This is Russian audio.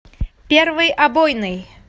первый обойный